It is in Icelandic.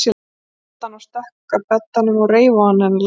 æpti hann og stökk að beddanum og reif ofan af henni lakið.